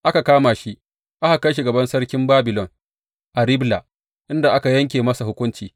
Aka kama shi, aka kai shi gaban sarkin Babilon a Ribla, inda aka yanke masa hukunci.